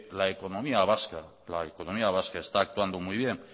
la economía vasca está actuando muy bien